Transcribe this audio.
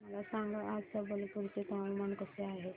मला सांगा आज संबलपुर चे हवामान कसे आहे